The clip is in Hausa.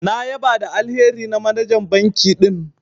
Na ƴaba da alheri na manajan banki din.